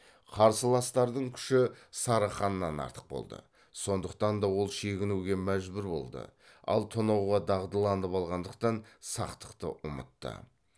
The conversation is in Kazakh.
қарсыластардың күші сары ханнан артық болды сондықтан да ол шегінуге мәжбүр болды ал тонауға дағдыланып алғандықтан сақтықты ұмытты